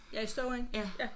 Ja i Støvring?